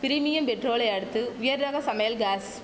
premium பெட்ரோலை அடுத்து உயர் ரக சமையல் காஸ்